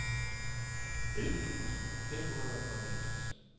elleve tusind et hundrede og niogtres